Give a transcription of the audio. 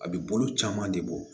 A bɛ bolo caman de bɔ